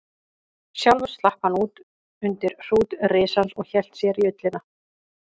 Sjálfur slapp hann út undir hrút risans og hélt sér í ullina.